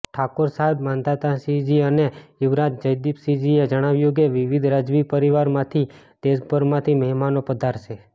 ઠાકોર સાહેબ માંધાતાસિંહજી અને યુવરાજ જયદીપસિંહજીએ જણાવ્યું કે વિવિધ રાજવી પરિવાર માંથી દેશભરમાંથી મહેમાનો પધારશે